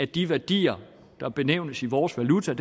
de værdier der benævnes i vores valuta